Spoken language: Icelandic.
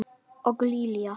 Og Lilja!